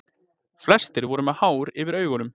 Flestir eru með hár yfir augunum.